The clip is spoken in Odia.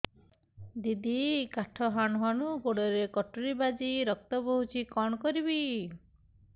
ଦିଦି କାଠ ହାଣୁ ହାଣୁ ଗୋଡରେ କଟୁରୀ ବାଜି ରକ୍ତ ବୋହୁଛି କଣ କରିବି